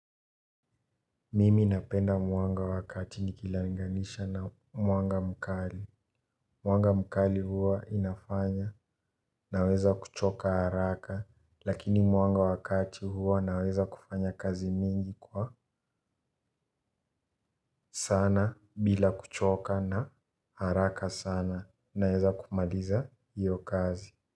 Mimi napenda mwanga wakati ni kilinganisha na mwanga mkali. Mwanga mkali huwa inafanya na weza kuchoka haraka. Lakini mwanga wakati huwa na weza kufanya kazi mingi kwa sana bila kuchoka na haraka sana na weza kumaliza hiyo kazi.